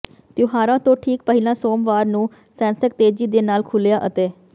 ਤਿਉਹਾਰਾਂ ਤੋਂ ਠੀਕ ਪਹਿਲਾਂ ਸੋਮਵਾਰ ਨੂੰ ਸੈਂਸੈਕਸ ਤੇਜੀ ਦੇ ਨਾਲ ਖੁਲਿਆ ਅਤੇ